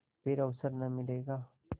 फिर अवसर न मिलेगा